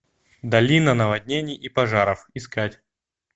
долина наводнений и пожаров искать